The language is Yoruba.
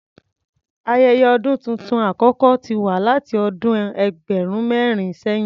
Ayẹyẹ ọdún tuntun àkọ́kọ́ ti wà láti ọdún ẹgbẹ̀rún mẹ́rin sẹ̀yìn.